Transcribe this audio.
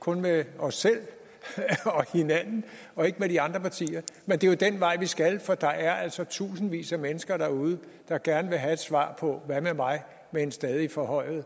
kun med os selv og hinanden og ikke med de andre partier men det er jo den vej vi skal for der er altså tusindvis af mennesker derude der gerne vil have et svar på hvad med mig ved en stadig forhøjet